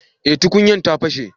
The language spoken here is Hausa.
eh tukunyan ta fashe